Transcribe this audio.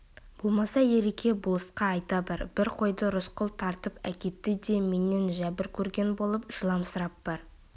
болмаса ереке болысқа айта бар бір қойды рысқұл тартып әкетті де менен жәбір көрген болып жыламсырап бар